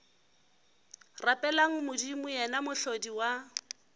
rapeleng modimo yena mohlodi wa